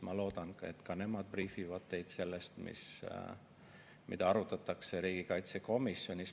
Ma loodan, et ka nemad briifivad teid sellest, mida arutatakse riigikaitsekomisjonis.